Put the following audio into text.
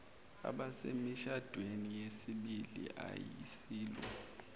abasemishadweni yesibili ayisilo